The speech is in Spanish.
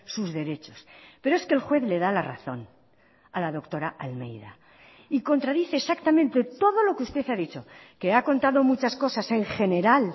sus derechos pero es que el juez le da la razón a la doctora almeida y contradice exactamente todo lo que usted ha dicho que ha contado muchas cosas en general